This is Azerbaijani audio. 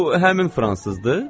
Bu həmin fransızdır?